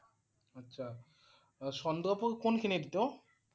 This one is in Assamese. আচ্ছা চন্দ্ৰপুৰ কোনখিনিত নু?